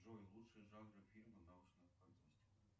джой лучшие жанры фильма научная фантастика